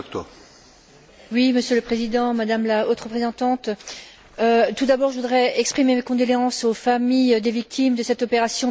Monsieur le Président, Madame la Haute représentante, tout d'abord, je voudrais exprimer mes condoléances aux familles des victimes de cette opération militaire meurtrière.